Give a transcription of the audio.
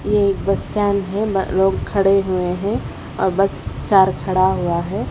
ये एक bus stand है ब अ लोग खड़े हुए हैं और बस चार खड़ा हुआ है।